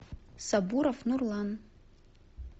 сабуров нурлан